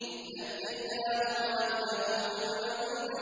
إِذْ نَجَّيْنَاهُ وَأَهْلَهُ أَجْمَعِينَ